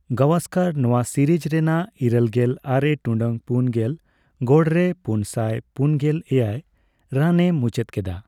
ᱜᱟᱵᱷᱥᱠᱟᱨ ᱱᱚᱣᱟ ᱥᱤᱨᱤᱡ ᱨᱮᱱᱟᱜ ᱤᱨᱟᱹᱞ ᱜᱮᱞ ᱟᱨᱮ ᱴᱩᱰᱟᱹᱜ ᱯᱩᱱ ᱜᱮᱞ ᱜᱚᱲᱨᱮ ᱯᱩᱱᱥᱟᱭ ᱯᱩᱱᱜᱮᱞ ᱮᱭᱟᱭ ᱨᱟᱱᱮ ᱢᱩᱪᱟᱹᱫ ᱠᱮᱫᱟ ᱾